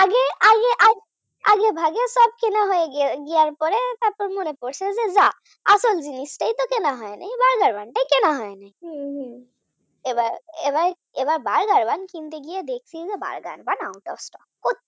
তারপর মনে পড়েছে আসল জিনিসটাই কেন হয়নি Burger Bun টা কেনা হয়নি, এবার Burger bun কিনতে গিয়ে দেখে Burger Bun out of stock কোথাও